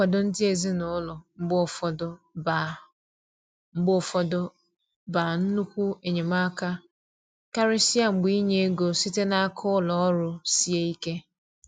Nkwado ndi ezinaụlọ mgbe ụfọdụ ba mgbe ụfọdụ ba nnukwu enyemaka, karịsịa mgbe inye ego site n'aka ụlọ ọrụ sie ike.